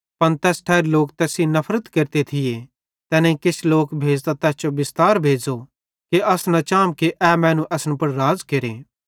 पन तैस ठैरी लोक तैस सेइं नफरत केरते थिये तैनेईं किछ लोक भेज़तां तैस जो बिस्तार भेज़ो कि अस न चाम ए मैनू असन पुड़ राज़ केरे